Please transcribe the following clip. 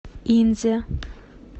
инзе